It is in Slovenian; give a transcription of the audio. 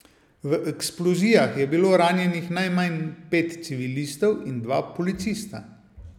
V eksplozijah je bilo ranjenih najmanj pet civilistov in dva policista.